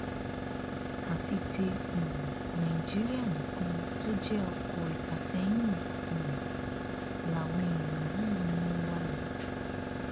àfi tí um nàìjíríà nìkan tó jẹ ọkọ ìfàsẹyìn um làwọn èèyàn yìí ń mú wa lọ